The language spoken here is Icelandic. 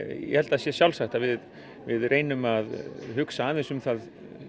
ég held að það sé sjálfsagt að við við reynum að hugsa aðeins um það